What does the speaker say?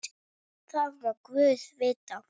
Það má guð vita.